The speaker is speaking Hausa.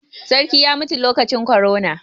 Sarkin ya mutu lokacin korona.